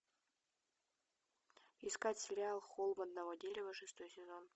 искать сериал холм одного дерева шестой сезон